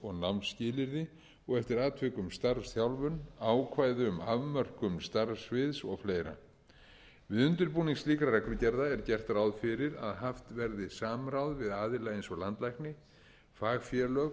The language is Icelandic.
nám og námsskilyrði og eftir atvikum starfsþjálfun ákvæði um afmörkun starfssviðs og fleira við undirbúning slíkra reglugerða er gert ráð fyrir að haft verði samráð við aðila eins og landlækni fagfélög